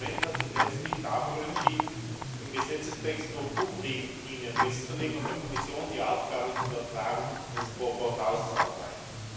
Das Parlament hat sich letztlich dafür entschieden, im Gesetzestext nur Grundlinien festzulegen und der Kommission die Aufgabe zu übertragen, das scoreboard auszuarbeiten.